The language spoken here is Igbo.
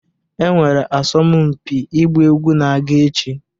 Enwere asọmpi ịgba egwu na-aga echi